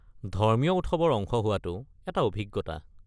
ধৰ্মীয় উৎসৱৰ অংশ হোৱাটো এটা অভিজ্ঞতা।